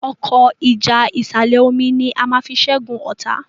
Ọkọ́ ìjà ìsàlẹ̀-omi ní a fí ṣẹgun ọta.